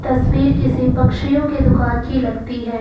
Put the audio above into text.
तस्वीर किसी पक्षियों की दुकान की लगती है।